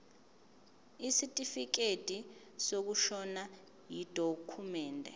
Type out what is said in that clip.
isitifikedi sokushona yidokhumende